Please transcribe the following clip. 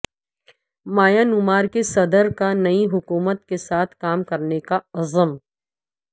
Myanmar کے صدر کا نئی حکومت کے ساتھ کام کرنے کا عزم